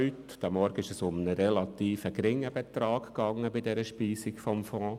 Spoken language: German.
Heute Morgen ging es um einen relativ geringen Betrag bei der Speisung des Fonds.